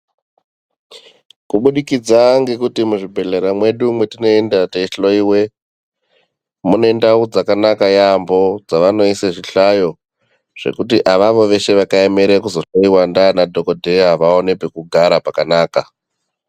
Kudikidza ngekuti muzvibhedhlera mwetinoenda teihloiwe. Mune ndau dzakanaka yaamho dzavanoise zvihlayo zvekuti avo veshe vakaemere kuzohloiwa ndiana dhogodheya vaone pekugara pakanaka.